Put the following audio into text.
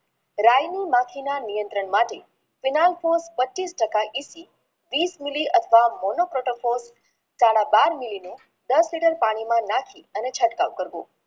રાયુ માથે માટેના નિયંત્રણ માટે પચીસ ટકા વિસ MILI અથવા દસ liter પાણી માં નાખી તેનો ચટકાવ કરવો